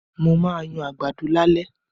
Mo ma yan àgbàdo lálẹ́.